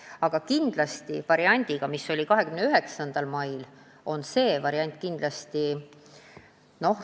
Tegu on variandiga, mille puhul on otsitud kompromissi 29. mail jutuks olnud lahendusega.